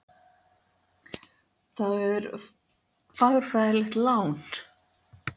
Það er fagurfræðilegt lán.